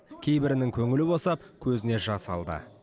кейбірінің көңілі босап көзіне жас алды